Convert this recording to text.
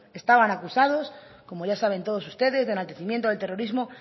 estaban acusados como ya saben todos ustedes de enaltecimiento del terrorismo